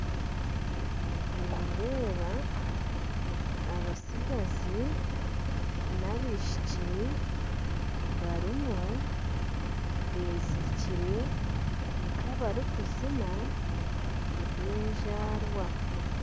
Nindeeba abatsigazi nabishiki barimu bezirikyire nkabarikuzina eby'enzaarwa